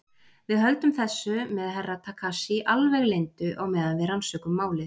Við höldum þessu með Herra Takashi alveg leyndu á meðan við rannsökum málið.